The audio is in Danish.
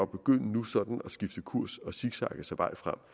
begynde nu sådan at skifte kurs og zigzagge sig vej frem